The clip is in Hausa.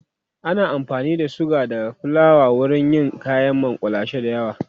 ana amfani da suga da flawa wurin yin kayan makullashe da yawa